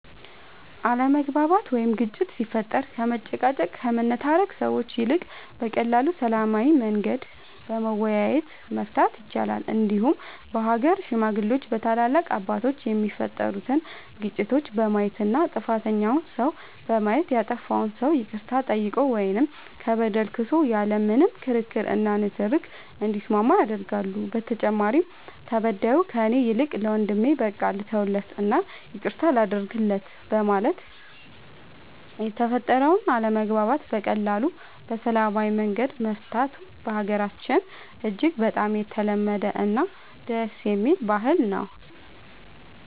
አለመግባባት ወይም ግጭት ሲፈጠር ከመጨቃጨቅ ከመነታረክ ሰዎች ይልቅ በቀላሉ በሰላማዊ መንገድ በመወያየት መፍታት ይቻላል እንዲሁም በሀገር ሽማግሌዎች በታላላቅ አባቶች የተፈጠሩትን ግጭቶች በማየት እና ጥፋተኛውን ሰው በማየት ያጠፋው ሰው ይቅርታ ጠይቆ ወይም ከበደለ ክሶ ያለ ምንም ክርክር እና ንትርክ እንዲስማማ ያደርጋሉ በተጨማሪም ተበዳዩ ከእኔ ይልቅ ለወንድሜ በቃ ልተውለት እና ይቅርታ ላድርግለት በማለት የተፈጠረውን አለመግባባት በቀላሉ በሰላማዊ መንገድ መፍታቱ በሀገራችን እጅግ በጣም የተለመደ እና ደስ የሚል ባህል ነው።